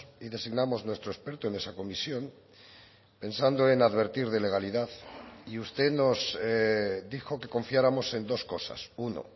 y designamos nuestro experto en esa comisión pensando en advertir de legalidad y usted nos dijo que confiáramos en dos cosas uno